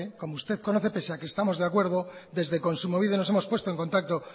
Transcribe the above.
como usted conoce pese a que estamos de acuerdo desde kontsumobide nos hemos puesto en contacto